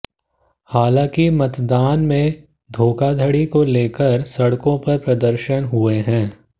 हालांकि मतदान में धोखाधड़ी को लेकर सड़कों पर प्रदर्शन हुए हैं